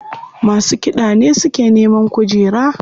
Masu kiɗa ne suke neman kujera.